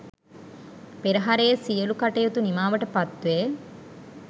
පෙරහරේ සියලු කටයුතු නිමාවට පත් වේ.